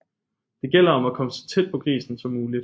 Det gælder om at komme så tæt på grisen som muligt